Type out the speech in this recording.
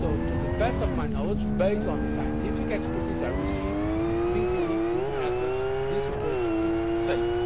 To the best of my knowledge, based on the scientific expertise I receive, we believe that these matters and this approach are safe.